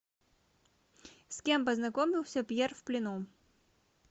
с кем познакомился пьер в плену